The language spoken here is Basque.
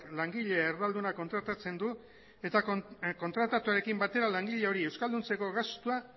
langile erdalduna kontratatzen du eta kontratuarekin batera langile hori euskalduntzeko gastua